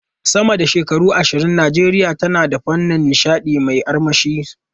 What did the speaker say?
Sama da shekaru ashirin ke nan, Najeriya tana da fannin nishadi mai armashi.